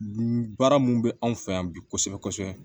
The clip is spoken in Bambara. Baara mun bɛ anw fɛ yan bi kosɛbɛ kosɛbɛ